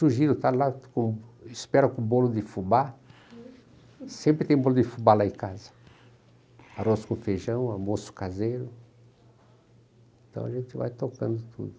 Sugiro estar lá, com... espero com bolo de fubá, sempre tem bolo de fubá lá em casa, arroz com feijão, almoço caseiro, então a gente vai tocando tudo.